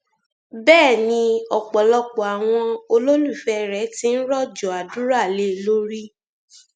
bẹẹ ni ọpọlọpọ àwọn olólùfẹ rẹ ti ń rọjò àdúrà lé e lórí